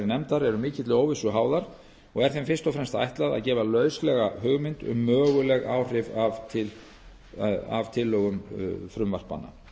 nefndar eru mikilli óvissu háðar og er þeim fyrst og fremst ætlað að gefa lauslega hugmynd um möguleg áhrif af tillögum frumvarpanna